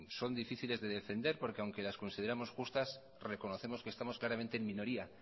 son difíciles de defender porque aunque las consideramos justas reconocemos que estamos claramente en minoría